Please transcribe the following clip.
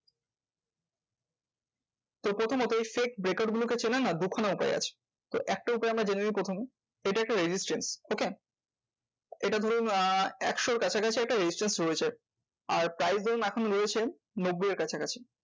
তো প্রথমত fake breakout গুলো চেনার না দুখানা উপায় আছে। একটা উপায় আমরা জেনেনিই প্রথমে এইটা একটা resistance. okay? এটা ধরুন আহ একশোর এর কাছাকাছি একটা resistance রয়েছে, আর price ধরো এখন রয়েছেন নব্বই এর কাছাকাছি।